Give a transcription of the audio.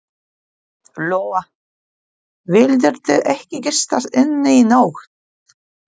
Lóa: Vildirðu ekki gista inni í nótt?